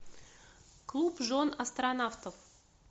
клуб жен астронавтов